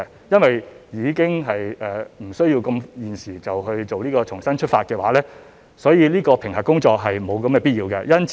由於現時暫不需要推出"香港重新出發"，評核工作便沒有必要做。